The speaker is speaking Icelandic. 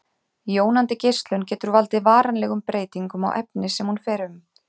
Jónandi geislun getur valdið varanlegum breytingum á efni sem hún fer um.